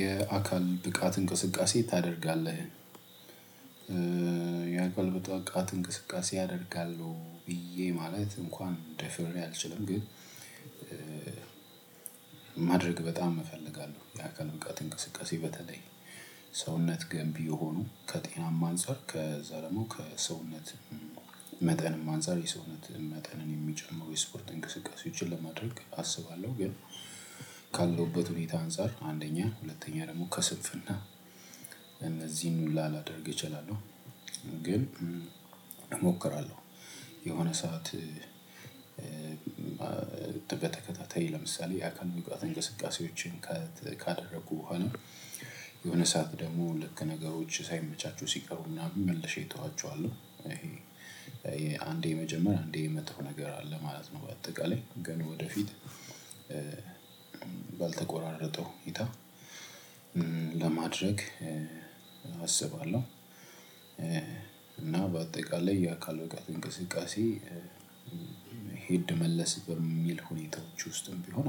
የአካል ብቃት እንቅስቃሴ ታደርጋለህ? የአካል ጠቃት እንቅስቃሴ አደርጋለሁ ብዬ ማለት እንኳን ደፈሬ አልችልም ግን። ማድረግ በጣም እፈልጋለሁ የአካል እብቃት እንቅስቃሴ በተለይ። ሰውነት ገንቢ የሆኑ ከጤናም አንፃር ከዛ ደግሞ ከሰውነት። መጠንም አንፃር የሰውነት መጠን የሚጨምሩ የስፖርት እንቅስቃሴዎችን ለማድረግ አስባለሁ ግን። ካለሁበት ሁኔታ አንፃር አንደኛ ሁለተኛ ደሞ ከስንፍና። እነዚህን ሁላ ላደርግ እችላለሁ ግን እሞክራለሁ። የሆነ ሰዓት። በተከታታይ ለምሳሌ የአካል ብቃት እንቅስቃሴዎችን ከት ካደረግኩ በኋላ። የሆነ ሰዓት ደግሞ ልክ ነገሮች ሳይመቻቹ ሲቀሩና መልሼ እተዋቸዋለሁ። ይሄ። አንዴ መጀመር አንዴ የመጣው ነገር አለ ማለት ነው። በአጠቃላይ ግን ወደፊት። ባልተቆራረጠው ሁኔታ። ለማድረግ አስባለሁ። እና በአጠቃላይ የአካል እውቀት እንቅስቃሴ። ሄድ መለስ በሚል ሁኔታዎች ውስጥም ቢሆን።